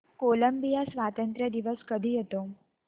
Colombia स्वातंत्र्य दिवस कधी येतो